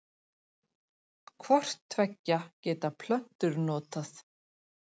Hvort tveggja geta plöntur notað.